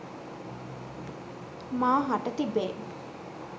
මා හට තිබේ.